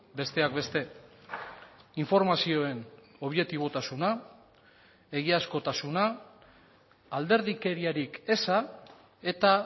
besteak beste informazioen objetibotasuna egiazkotasuna alderdikeriarik eza eta